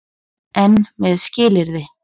EN MEÐ SKILYRÐI.